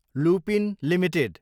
Lupin Ltd